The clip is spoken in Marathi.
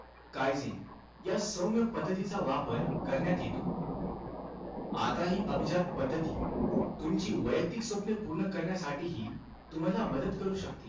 काईझेन या सौम्य पद्धतीचा वापर करण्यात येतो. आताही अभिजात पद्धती, तुमची वैयक्तिक स्वप्ने पूर्ण करण्यासाठीही, तुम्हाला मदत करू शकते.